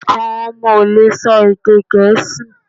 Awọn ọmọ o le sọ èdè gẹẹsi